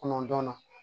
Kɔnɔntɔnnan